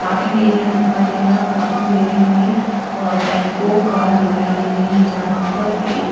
parking area दिखाई दे रहा है पार्किंग एरिया मे टेम्पो कार दिखाई दे रही है यहाँ पर एक--